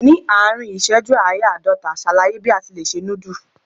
Ní àárín ìṣẹ́jú ááyá àádọ́ta, ṣàlàyé bí a ti lè se núdù?